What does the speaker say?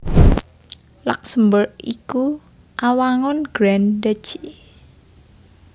Luksemburg iku awangun Grand duchy